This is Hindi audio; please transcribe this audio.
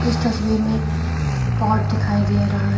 इस तस्वीर में पॉट दिखाई दे रहा है।